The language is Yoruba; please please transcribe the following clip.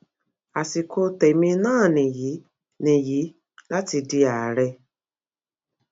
àsìkò tẹmí náà nìyí nìyí láti di àárẹ